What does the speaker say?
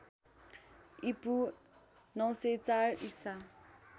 ईपू ९०४ ईसा